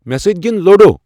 مے سۭتۍ گِند لوڈو ۔